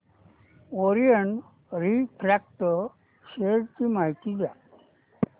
Orient refract share ची माहिती द्या